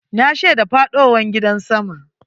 Na shaida faɗowar gidan sama.